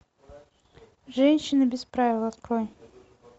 женщина без правил открой